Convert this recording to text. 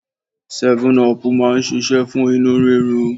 Seven-up máa ń ṣíṣe fún inú rírun.